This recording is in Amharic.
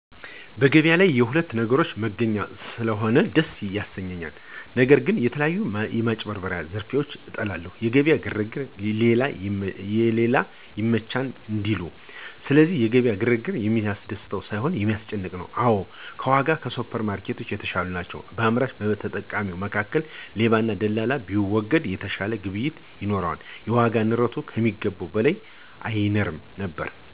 በገበያ ላይ የሁሉንም ነገሮች መገኛ ስለሆነ ደስ ያሰኛል። ነገር ግን የተለያዩ ማጭበርበሮች ዝርፊያዎችን እጠላለሁ። የገበያ ግርግር ለሌባ ይመቻል እንዲሉ፤ ስለዚህ የገበያ ግርግር የሚያስደስት ሳይሆን የሚያስጨንቅ ነው። አዎ ዋጋዎች ከሱፐርማርኬቶች የተሻሉ ናቸው። በአምራችና በተጠቃሚው መካከል ሌባና ደላላ ቢወገድ የተሻለ ግብይት ይኖራል፤ የዋጋ ንረቱም ከሚገባው በላይ አይንርም ነበር።